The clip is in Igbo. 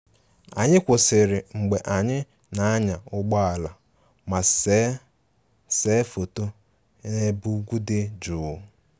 Anyị kwụsịrị mgbe anyị na-anya ụgbọ ala ma see see foto n'ebe ugwu dị jụụ